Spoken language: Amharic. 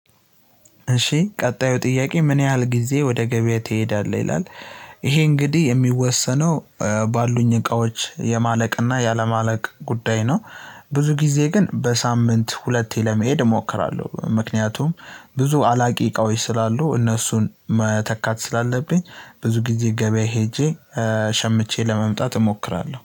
እሺ ቀጣዩ ጥያቄ ምን ያህል ጊዜ ወደ ገበያ ትሄዳለህ ይላል? ይሄ እንግዲህ እሚወሰነው ባሉኝ እቃዎች የማለቅና ያለማለቅ ጉዳይ ነው። ብዙ ጊዜ ግን በሳምንት ሁለቴ ለመሄድ እሞክራለሁ። ምክንያቱም ብዙ አላቂ እቃዎች ስላሉ እነሱን መተካት ስላለብኝ ብዙ ጊዜ ገበያ ሄጄ ሸምቼ ለመምጣት እሞክራለሁ